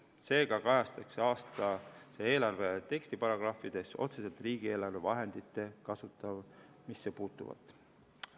Seega kajastatakse aastase eelarve tekstiparagrahvides otseselt riigieelarve vahendite kasutamisse puutuvat.